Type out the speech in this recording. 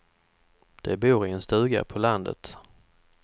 De bor i en stuga på landet.